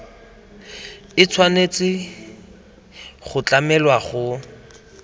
e tshwanetse go tlamelwa go